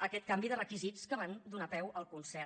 aquest canvi de requisits que van donar peu al concert